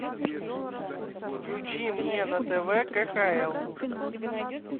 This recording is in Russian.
включи мне на тв кхл